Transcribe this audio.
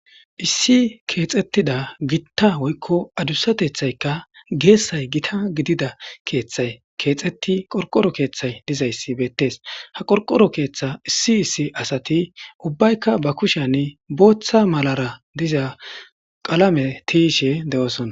issi keexettida gitta woykko adusatethayka geessay gita gidida keeththay keexetti qorqoro keeththay dizayssi beettees ha qorqoro keeththa issi issi asati ubbaykka ba kushean booththa malara diza qalame tiiyishe de'oosona